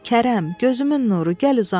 Kərəm, gözümün nuru, gəl uzan.